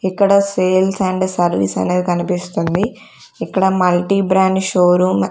ఇక్కడ sales and service అనేది కనిపిస్తుంది ఇక్కడ మల్టీ బ్రాండ్ షోరూమ్ --